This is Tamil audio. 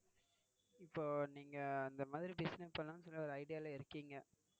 இப்போ நீங்க இந்த மாதிரி business பண்ணலாம்னு சொல்லி ஒரு idea ல இருக்கீங்க.